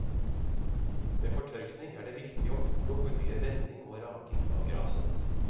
Ved fortørking er det viktig å unngå for mye vending og raking av graset.